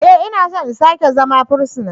E! Ina so in sake zama fursuna.